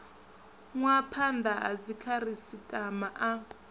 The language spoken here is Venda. nwa phanda ha dzikhasitama a